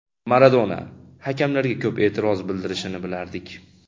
Maradona hakamlarga ko‘p e’tiroz bildirishini bilardik.